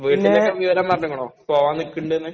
വീട്ടിലൊക്കെ വിവരം പറഞ്ഞേക്ക്നോ? പോകാൻ നിക്കണുണ്ട് നു..?